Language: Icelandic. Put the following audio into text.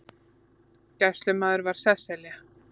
Gæslumaður var Sesselja